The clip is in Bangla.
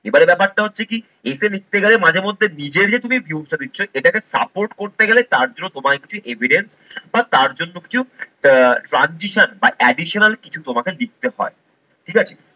এবারে ব্যাপারটা হচ্ছে কি essay লিখতে গেলে মাঝেমধ্যে নিজে যে তুমি view টা দিচ্ছ এটাকে support করতে গেলে তার জন্য তোমায় কিছু evidence বা তার জন্য কিছু আহ transition বা additional কিছু তোমাকে লিখতে হয় ঠিক আছে।